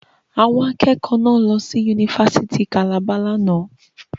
Àwọn akẹ́kọ̀ọ́ náà lọ sí Yunifásítì Calabar lánàá.